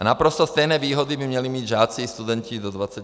A naprosto stejné výhody by měli mít žáci i studenti do 26 let.